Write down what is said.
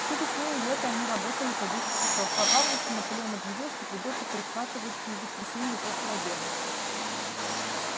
всю весну и лето они работали по десять часов а в августе наполеон объявил что придётся прихватывать и воскресенья после обеда